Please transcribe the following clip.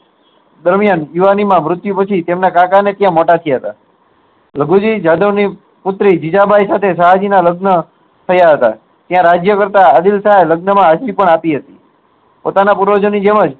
તે દરમીયાન યુવાનીમાં મૃત્યુ પછી તે તેમના કાકા ને ત્યાં મોટા થયા હતા લઘુ જી જાદવ ની પુત્રી જીજાબાઇ સાથે શાહજી ના લગ્ન થયા હતા ત્યાં રાજ્ય કરતા શાહ ને લગ્ન માં હાજરી આપી હતી પોતાના પૂર્વજો ના જેમ જ